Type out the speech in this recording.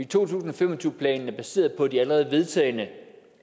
to tusind og fem og tyve planen er baseret på de allerede vedtagne